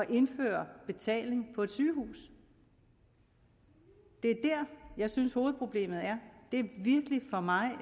indføre betaling på et sygehus det er her jeg synes hovedproblemet er for mig